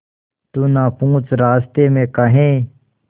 तू ना पूछ रास्तें में काहे